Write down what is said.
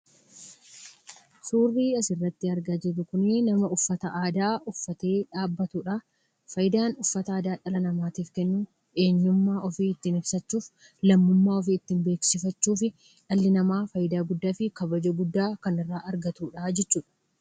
Suurrii asirratti argaa jirru kunii nama uffata aadaa uffatee dhaabbatudhaa. Faayidaan uffatni aadaa dhala namaatiif kennu eenyummaa ofii ittiin ibsachuuf, lammummaa ofii ittiin beeksifachhuu fi dhalli namaa faayidaa guddaa fi kabaja guddaa kan irraa argatudhaa jechuudha.